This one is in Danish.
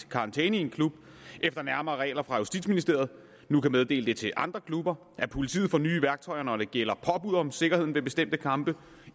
karantæne i en klub efter nærmere regler fra justitsministeriet nu kan meddele det til andre klubber at politiet får nye værktøjer når det gælder påbud om sikkerheden ved bestemte kampe at